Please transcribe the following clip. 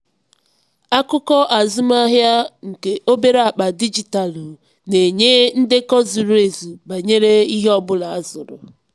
akụkọ azụmahịa nke obere akpa dijitalụ na-enye ndekọ zuru ezu banyere ihe ọ ihe ọ bụla azụrụ.